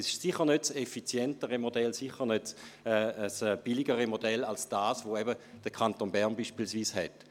Es ist sicher nicht das effizientere Modell und sicher nicht billiger als das, was beispielsweise der Kanton Bern hat.